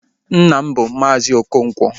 Nna m bụ Maazi Okonkwo